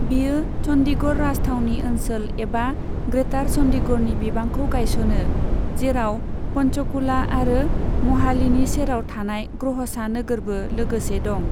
बियो चंडीगढ़ राजथावनि ओनसोल एबा ग्रेटार चंडीगढ़नि बिबांखौ गायसनो, जेराव पंचकुला आरो म'हालीनि सेराव थानाय ग्रहसा नोगोरबो लोगोसे दं।